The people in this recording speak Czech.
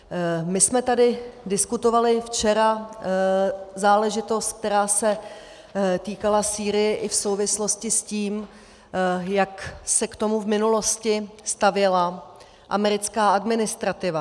My jsme tady diskutovali včera záležitost, která se týkala Sýrie i v souvislosti s tím, jak se k tomu v minulosti stavěla americká administrativa.